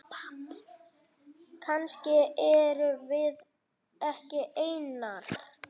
Kannski erum við ekki einar.